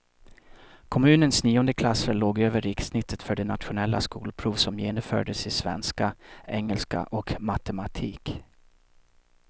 Kommunens niondeklassare låg över rikssnittet för det nationella skolprov som genomfördes i svenska, engelska och matematik.